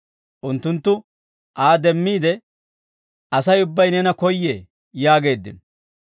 Unttunttu Aa demmiide, «Asay ubbay neena koyyee» yaageeddino.